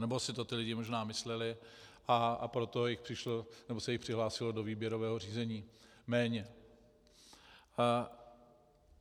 Nebo si to ti lidé možná mysleli, a proto se jich přihlásilo do výběrového řízení méně.